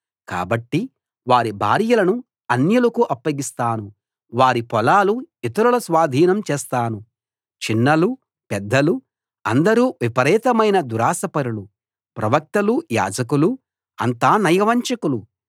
కాబట్టి వారి భార్యలను అన్యులకు అప్పగిస్తాను వారి పొలాలు ఇతరుల స్వాధీనం చేస్తాను చిన్నలు పెద్దలు అందరూ విపరీతమైన దురాశాపరులు ప్రవక్తలు యాజకులు అంతా నయవంచకులు